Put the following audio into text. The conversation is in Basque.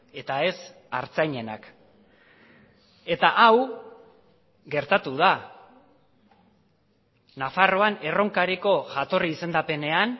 eta ez artzainenak eta hau gertatu da nafarroan erronkariko jatorri izendapenean